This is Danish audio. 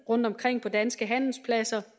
rundtomkring på danske handelspladser